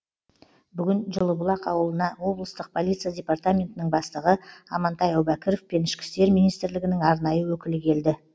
бүгін жылыбұлақ ауылына облыстық полиция департаментінің бастығы амантай әубәкіров пен ішкі істер министрілігінің арнайы өкілі келді